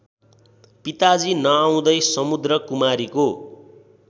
पिताजी नआउँदै समुद्रकुमारीको